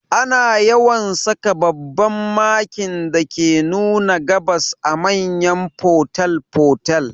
Ana yawan saka babban Makin dake nuna gabas a manyan fotel fotel